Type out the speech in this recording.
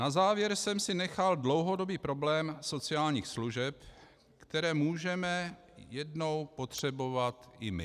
Na závěr jsem si nechal dlouhodobý problém sociálních služeb, které můžeme jednou potřebovat i my.